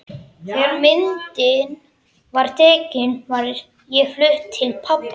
Þegar myndin var tekin var ég flutt til pabba.